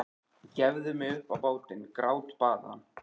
Gefðu mig upp á bátinn, grátbað hann.